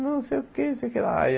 Não sei o que, não sei o que lá. Aí